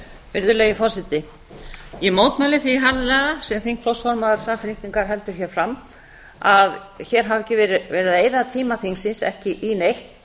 virðulegi forseti ég mótmæli því harðlega sem þingflokksformaður samfylkingar heldur hér fram að hér hafi tíma þingsins verið eytt í ekki neitt